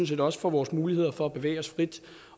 set også for vores muligheder for at bevæge os frit